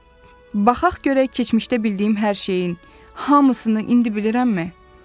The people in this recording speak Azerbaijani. Baxaq görək keçmişdə bildiyim hər şeyin hamısını indi bilirəmmi?